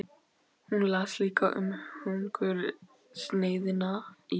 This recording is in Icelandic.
Hún las líka um hungursneyðina í